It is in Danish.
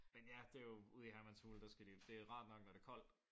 Men ja det er jo ude i Hermans hule der skal de jo det er jo rart nok når det er koldt